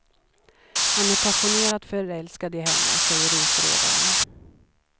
Han är passionerat förälskad i henne, säger utredaren.